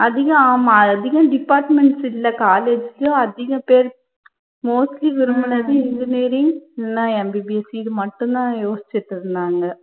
அதிகம் ஆமா அதிகம் departments இல்ல college லயும் அதிக பேர் mostly விரும்புனது engineering இல்லன்னா MBBS seat மட்டும் தான் யோசிச்சிட்டு இருந்தாங்க.